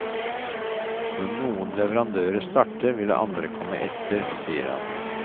Når noen leverandører starter, vil andre komme etter, sier han.